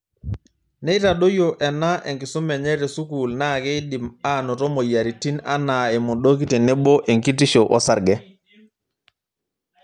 Neitadoyio ena enkisuma enye tusukuul naa keidim aanoto moyiaritn anaa emodoki tenebo enkitisho osarge.